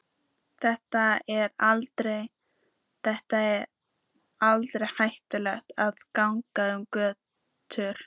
Þar er aldrei hættulegt að ganga um götur.